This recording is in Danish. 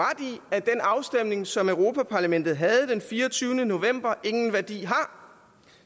at den afstemning som europa parlamentet havde den fireogtyvende november ingen værdi har